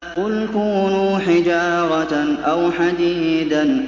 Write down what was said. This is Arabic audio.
۞ قُلْ كُونُوا حِجَارَةً أَوْ حَدِيدًا